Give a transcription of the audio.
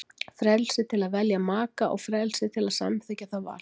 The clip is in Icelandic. Frelsi til að velja maka og frelsi til að samþykkja það val.